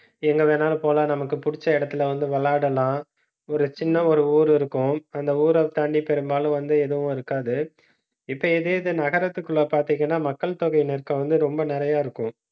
எங்க வேணாலும் போலாம். நமக்கு புடிச்ச இடத்துல வந்து விளையாடலாம். ஒரு சின்ன ஒரு ஊரு இருக்கும். அந்த ஊரை தாண்டி பெரும்பாலும் வந்து எதுவும் இருக்காது இப்ப இதே இது நகரத்துக்குள்ள பாத்தீங்கன்னா, மக்கள் தொகைநெருக்கம் வந்து ரொம்ப நிறைய இருக்கும்